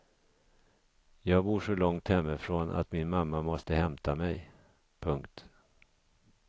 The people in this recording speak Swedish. Jag bor så långt hemifrån att min mamma måste hämta mig. punkt